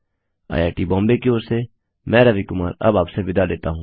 II T Bombay की ओर से मैं रवि कुमार अब आपसे विदा लेता हूँ